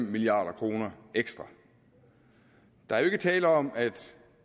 milliard kroner ekstra der er jo ikke tale om at